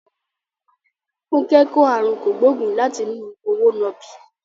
Funke kò àrùn kògbóògùn láti inú òwò nàbì.